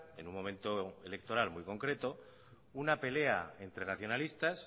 en un momento electoral muy concreto una pelea entre nacionalistas